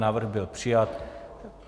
Návrh byl přijat.